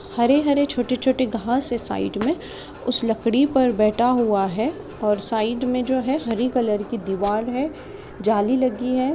हरे हरे छोटे खास है साइड में उसे लकड़ी पर बैठा हुआ है। साइड में जो है हरे कलर की दीवार है। जाली लगी है।